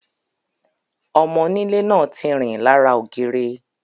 Ọmọ onílé náà tí rìn lára ògiri.